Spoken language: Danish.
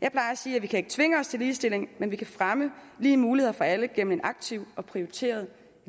jeg plejer at sige at vi ikke kan tvinge os til ligestilling men at vi kan fremme lige muligheder for alle gennem en aktiv og prioriteret